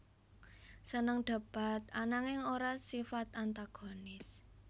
Seneng debat ananging ora sifat antagonis